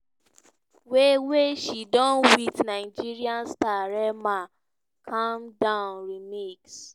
wey wey she do wit nigerian star rema - calm down remix.